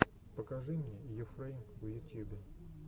покажи мне йуфрэйм в ютьюбе